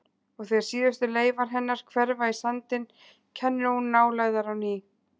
Og þegar síðustu leifar hennar hverfa í sandinn kennir hún nálægðar á ný.